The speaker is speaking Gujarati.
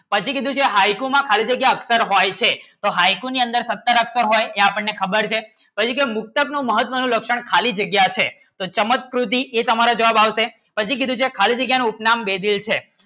પછી કીધું છે ખાલી જગ્યા હોય છે હાઇકુ ની અંદર સત્તર અખ્તર એ આપણને ખબર છે પછી કેમ મુક્તત નું મહત્ત નું લક્ષણ ખાલી જગ્યા છે તો ચમતકૃતિ એક હમારા જવાબ આવશે પછી કીધું છે ખાલી જગ્યા ઉપનામ બે દિલ છે